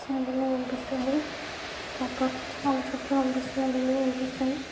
Building కనిపిస్తుంది. ఒక చాలా చెట్లు కనిపిస్తున్నాయి .బిల్డింగ్ కనిపిస్తుంది.